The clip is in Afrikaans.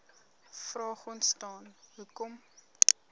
vraag ontstaan hoekom